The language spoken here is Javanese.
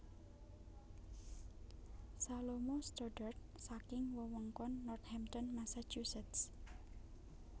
Salomo Stoddard saking wewengkon Northampton Massachusetts